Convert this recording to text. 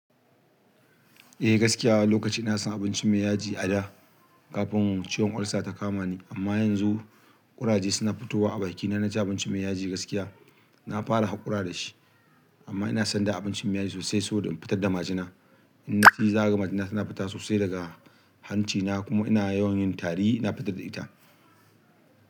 Eh gaskiya lokacin ina son abinci mai yaji a da kafin ciwon ulcer ta kama ni, amma yanzu ƙuraje suna fitowa a baki na, na ji abinci mai yaji gaskiya. Na fara haƙura da shi amma ina son da abinci mai yaji sosai saboda in fitar da majina. Ina in za ga majina tana fita sosai daga hanci na kuma ina yawan yin tari ina fitar da ita.